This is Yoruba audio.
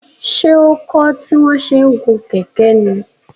Ṣé ó kọ́ tí wọ́n ṣe ń gun kẹ̀kẹ́ ní?